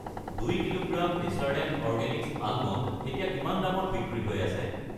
2 kilogram Natureland Organics almond, এতিয়া কিমান দামত বিক্ৰী হৈ আছে?